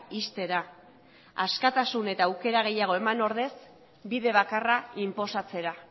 ixtera askatasun eta aukera gehiago eman ordez bide bakarra inposatzera